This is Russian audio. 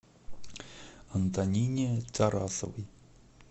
антонине тарасовой